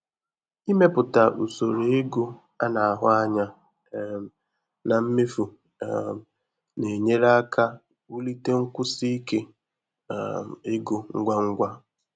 Ịmepụta usoro ego a na-ahụ anya um na mmefu um na-enyere aka wulite nkwụsi ike um ego ngwa ngwa.